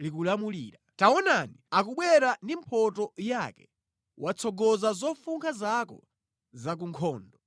likulamulira, taonani akubwera ndi mphotho yake watsogoza zofunkha zako za ku nkhondo.